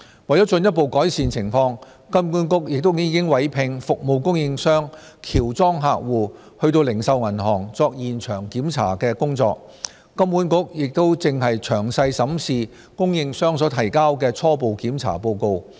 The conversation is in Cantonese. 為進一步改善情況，金管局亦已委聘服務供應商喬裝客戶到零售銀行作現場檢查的工作，金管局現正詳細審視供應商所提交的初步檢查報告。